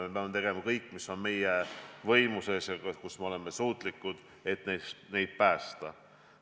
Me peame tegema kõik, mis on meie võimuses, et neid päästa.